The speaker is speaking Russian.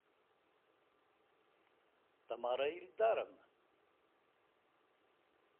тамара ильдаровна